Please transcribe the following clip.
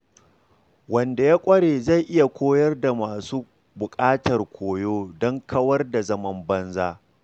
Wanda ya ƙware zai iya koyar da masu buƙatar koyo don kawar da zaman banza.